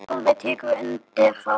Sólveig tekur undir það.